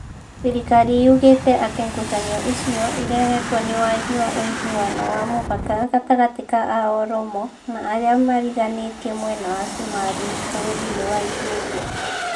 Thĩrĩkari yugĩte atĩ ngucanio icio irehetwo nĩ wagi wa ũigiano wa mũhaka gatagatĩ ka a Oromo na arĩa mariganĩtie mwena wa Cumarĩ bũrũri-inĩ wa Ethiopia